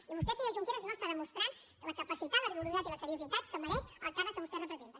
i vostè senyor junqueras no demostra la capacitat el rigor i la seriositat que mereix el càrrec que vostè representa